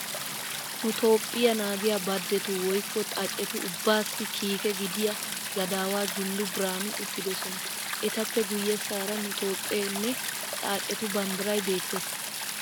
Nu Toophphiya naagiya badetu woykko xaacetu ubbaassi kiike gidiya gadaawaa Jula Birhaanu uttidosona. Etappe guyyessaara nu Toophphee nne xaacetu banddiray beettes.